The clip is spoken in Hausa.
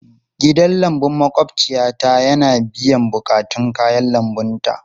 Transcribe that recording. Gidan lambun maƙwabciyata yana biyan buƙatun kayan lambunta.